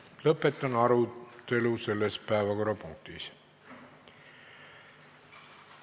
Lõpetan selle päevakorrapunkti arutelu.